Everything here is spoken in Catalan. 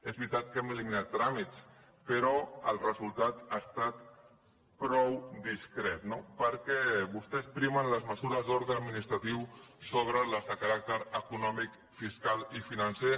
és veritat que hem eliminat tràmits però el resultat ha estat prou discret no perquè vostès primen les mesures d’ordre administratiu sobre les de caràcter econòmic fiscal i financer